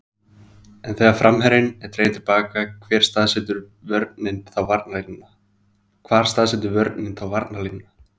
En þegar framherjinn er dreginn til baka hvar staðsetur vörnin þá varnarlínuna?